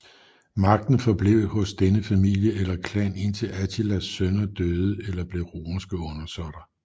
Magten forblev hos denne familie eller klan indtil Attilas sønner døde eller blev romerske undersåtter